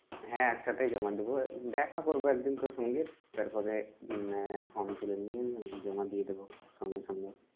হ্যাঁ একসাথেই জমা দেব দেখা করব একদিন তোর সঙ্গে তারপরে form তুলে নিয়ে জমা দিয়ে দেব সঙ্গে সঙ্গে।